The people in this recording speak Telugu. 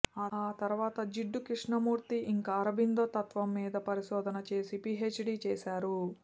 ఆ తరువాత జిడ్డు కృష్ణమూర్తి ఇంకా అరబిందో తత్త్వం మీద పరిశోధన చేసి పిహెచ్డి చేశారు